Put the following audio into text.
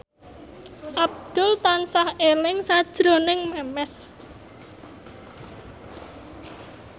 Abdul tansah eling sakjroning Memes